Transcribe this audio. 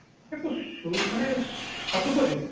ତାକୁ ସୁ ମାନେ ସଦୁପଯୋଗ